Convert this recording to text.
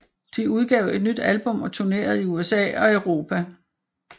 De udgav et nyt album og turnerede i USA og Europa